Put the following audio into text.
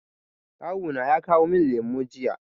Kawu na ya kawo min lemu jiya.